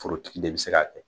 Forotigi de bi se k'a kɛ.